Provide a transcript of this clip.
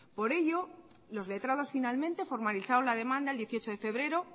por ello los letrados finalmente formalizaron la demanda el dieciocho de febrero